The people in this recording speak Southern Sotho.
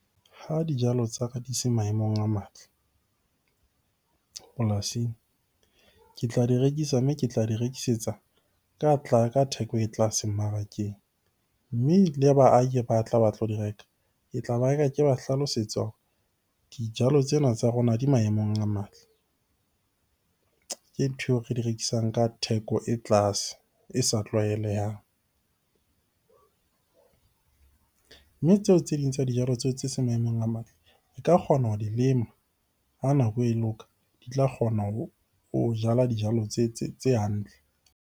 Ha dijalo tsa ka di se maemong a matle polasing. Ke tla di rekisa, mme ke tla di rekisetsa ka ka theko e tlase mmarakeng. Mme le baahi ba tla ba tlo di reka, ke tla ba reka ke ba hlalosetsa hore dijalo tsena tsa rona di maemong a matle. Ke ntho eo re di rekisang ka theko e tlase, e sa tlwaelehang. Mme tseo tse ding tsa dijalo tseo tse seng maemong a matle e ka kgona ho di lema ha nako e loka. Di tla kgona ho jala dijalo tse hantle.